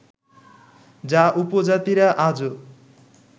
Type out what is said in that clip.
যা উপজাতিরা আজো